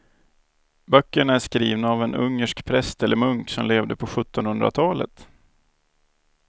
Böckerna är skrivna av en ungersk präst eller munk som levde på sjuttonhundratalet.